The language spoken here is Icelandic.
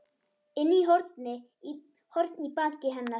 inn horn í baki hennar.